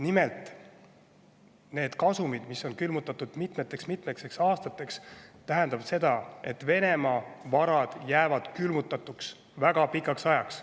Nimelt, nende kasumite külmutamine mitmeks-mitmeks aastaks tähendab seda, et Venemaa varad jäävad külmutatuks väga pikaks ajaks.